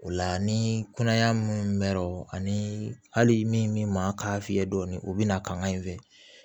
O la ni kunaya minnu mɛ non ani hali min ma k'a fiyɛ dɔɔni o bi na kanga in fɛ